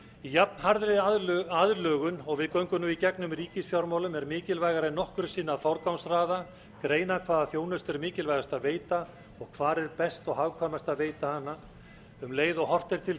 jafn harðri aðlögun og við göngum nú í gegnum í ríkisfjármálum er mikilvægara en nokkru sinni að forgangsraða greina hvaða þjónustu er mikilvægast að veita og hvar er best og hagkvæmast að veita hana um leið og horft er til